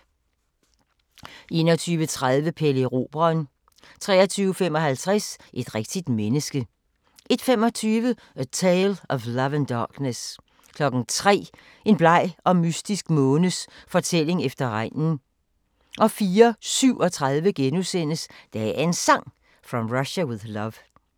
21:30: Pelle Erobreren 23:55: Et rigtigt menneske 01:25: A Tale of Love and Darkness 03:00: En bleg og mystisk månes fortælling efter regnen 04:37: Dagens Sang: From Russia With Love *